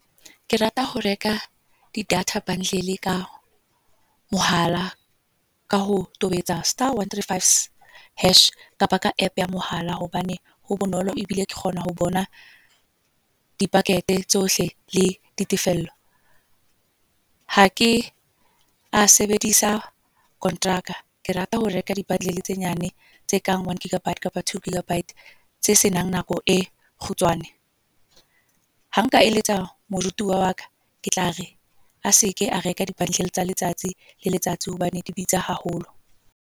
Ke rata ho reka di-data bundle ka mohala. Ka ho tobetsa star, one, three, five, hash. Kapa ka app ya mohala, hobane ho bonolo ebile ke kgona ho bona di-packet tsohle le ditefello. Ha ke a sebedisa kontraka, ke rata ho reka di-bundle tse nyane tse kang one gigabyte kapa two gigabyte tse senang nako e kgutshwane. Ha nka eletsa moruti wa wa ka ke tlare a seke a reka di-bundles tsa letsatsi le letsatsi hobane di bitsa haholo.